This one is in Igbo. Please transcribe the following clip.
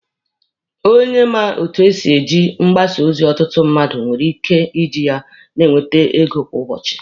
Onye ma etu esi eji mgbasa ozi ọtụtụ mmadụ nwere ike iji ya na-enwete ego kwa ụbọchị.